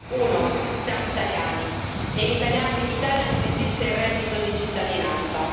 Uno, siamo italiani e in Italia non esiste il reddito di cittadinanza.